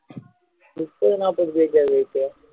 முப்பது நாப்பது page ஆ விவேக்கு